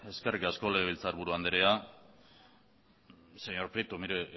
eskerrik asko legebiltzar buru andrea señor prieto mire